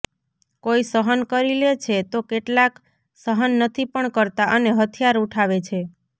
કોઇ સહન કરી લે છે તો કેટલાક સહન નથી પણ કરતા અને હથિયાર ઉઠાવે છે